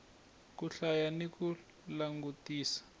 ku hlaya ni ku langutisa